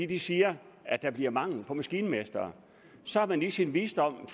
de siger at der bliver mangel på maskinmestre så har man i sin visdom